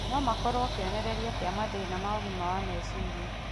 no makorũo kĩonereria kĩa mathĩna ma ũgima wa meciria.